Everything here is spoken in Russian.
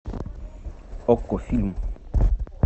окко фильм